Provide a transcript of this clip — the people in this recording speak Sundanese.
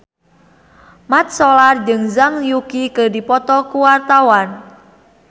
Mat Solar jeung Zhang Yuqi keur dipoto ku wartawan